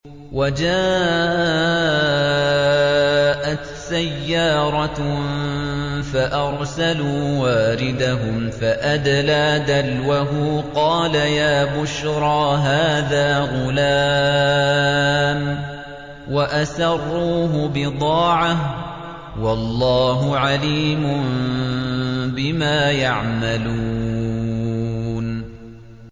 وَجَاءَتْ سَيَّارَةٌ فَأَرْسَلُوا وَارِدَهُمْ فَأَدْلَىٰ دَلْوَهُ ۖ قَالَ يَا بُشْرَىٰ هَٰذَا غُلَامٌ ۚ وَأَسَرُّوهُ بِضَاعَةً ۚ وَاللَّهُ عَلِيمٌ بِمَا يَعْمَلُونَ